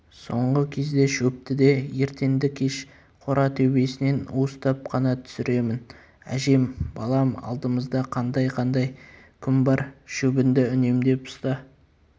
соңғы кезде шөпті де ертеңді-кеш қора төбесінен уыстап қана түсіремін әжем балам алдымызда қандай-қандай күн бар шөбіңді үнемдеп ұста